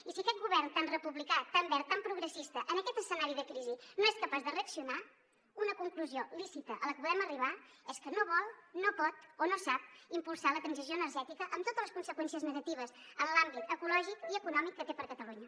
i si aquest govern tan republicà tan verd tan progressista en aquest escenari de crisi no és capaç de reaccionar una conclusió lícita a la que podem arribar és que no vol no pot o no sap impulsar la transició energètica amb totes les conseqüències negatives en els àmbits ecològic i econòmic que té per a catalunya